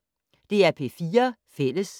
DR P4 Fælles